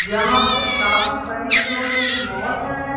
यहां पे काफी बड़ी जो ये मॉल है।